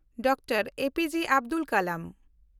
Doctor A P J. Abdul Kalam